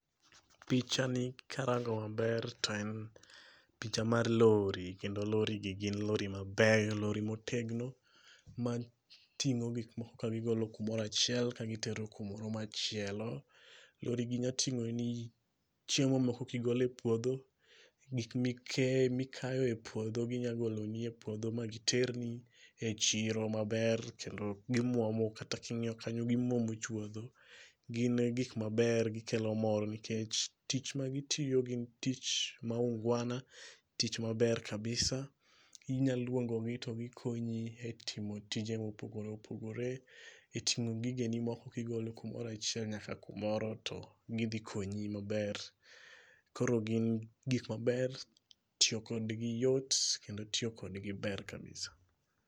Pichani karango maber to en picha mar lori kendo lori gi gin lori maber, lori ma otegno, ma ting'o gik moko ka gigolo kumoro achiel ka gitero kumoro machielo, lorigi nya ting'oni chiemo moko kigolo e puodho gik mikayo e puodho ginyalogolo nie e puodho ma giterni e chiro maber kendo gimuomo kata king'iyo kanyo gimuomo chuodho. Gin gik maber gikelo ,mor nikech tich magitiyo gin tich mar unguana tich maber kabisa inyalo luongo gi to gikonyi e timo tije mopogore opogore itimo gigeni ka igolo kumoro achiel nyaka kumoro to gidhi konyi maber koro gin gik maber, tiyo kodgi yot kendo tiyo kodgi ber kabisa.